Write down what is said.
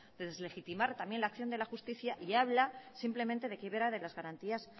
de deslegitimar también la acción de la justicia y habla simplemente de quiebra de las garantías